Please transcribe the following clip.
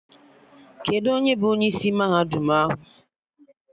Kedụ onye bụ onye isi mahadum ahụ?